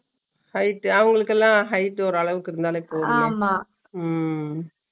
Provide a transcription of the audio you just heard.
height அவங்களுக்கு எல்லா height ஒர்ரலவுக்கு இருந்த போதும் ஹம்